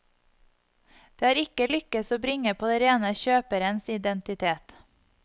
Det har ikke lykkes å bringe på det rene kjøperens identitet.